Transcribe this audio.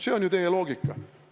See on ju teie loogika.